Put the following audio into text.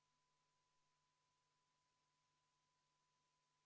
Aga enne, kui ma välja kuulutan, võtan protseduurilise küsimuse Mihhail Stalnuhhinilt.